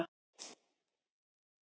Fjórir létust á ítölskum baðströndum